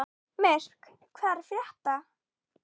Myrk, hvað er að frétta?